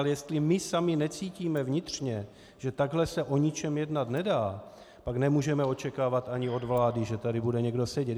Ale jestli my sami necítíme vnitřně, že takhle se o ničem jednat nedá, pak nemůžeme očekávat ani od vlády, že tady bude někdo sedět.